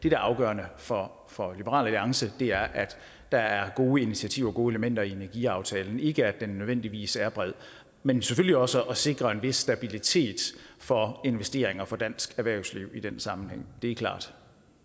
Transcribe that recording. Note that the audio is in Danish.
er afgørende for for liberal alliance er at der er gode initiativer gode elementer i energiaftalen ikke at den nødvendigvis er bred men selvfølgelig også at sikre en vis stabilitet for investeringer for dansk erhvervsliv i den sammenhæng det er klart